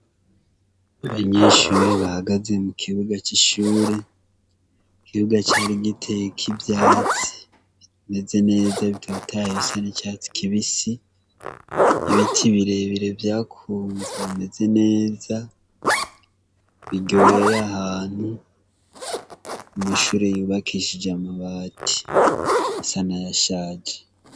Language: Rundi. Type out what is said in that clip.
Abanyeshure bahageze mu kibuga cishure, ikibuga cari giteyeko ivyatsi bimeze neza bitotahaye bisa nicatsi kibisi ibiti birebire vyakunze bimeze neza imbere yahantu amashure yubakishije amabati asa nayashaje.